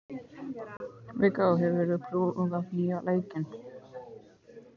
Viggó, hefur þú prófað nýja leikinn?